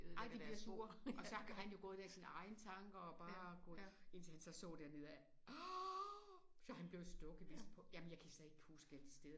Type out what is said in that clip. Ej de bliver sure. Og så har han jo gået der i sine egne tanker og bare gået indtil han så så derned af åh så han blev stukket vist på ej jeg kan slet ikke huske alle de steder